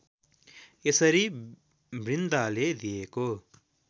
यसरी वृन्दाले दिएको